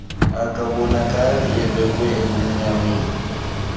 akabonakali ubeekwe ebumnyameni